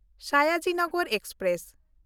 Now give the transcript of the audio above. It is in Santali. ᱥᱟᱭᱟᱡᱤ ᱱᱚᱜᱽᱨᱤ ᱮᱠᱥᱯᱨᱮᱥ